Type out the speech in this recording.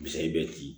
Misali bɛ di